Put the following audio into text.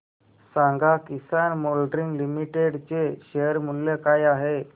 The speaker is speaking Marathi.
सांगा किसान मोल्डिंग लिमिटेड चे शेअर मूल्य काय आहे